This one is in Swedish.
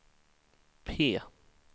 P